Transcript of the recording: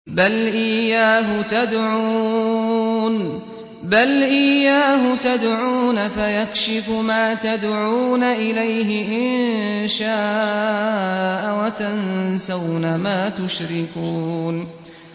بَلْ إِيَّاهُ تَدْعُونَ فَيَكْشِفُ مَا تَدْعُونَ إِلَيْهِ إِن شَاءَ وَتَنسَوْنَ مَا تُشْرِكُونَ